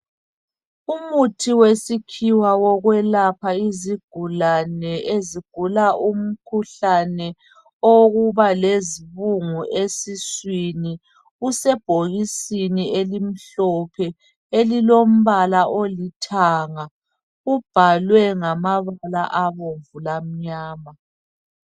umuthi wesikhiwa oyelapha izigudlane ezigula imikhuhlane wokuba lezibungu esiswini usebhokisini omhlophe elilompala olithanga ubhalwe ngababala abomvu lamnyama